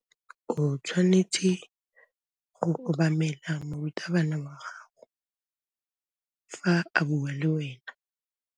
O tshwanetse go obamela morutabana wa gago fa a bua le wena.